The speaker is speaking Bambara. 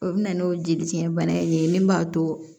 O bɛ na n'o jelifiyɛ bana in ye min b'a to